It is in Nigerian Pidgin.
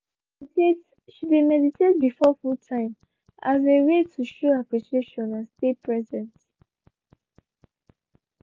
she de meditate she de meditate before food time as a way to show appreciation and stay present.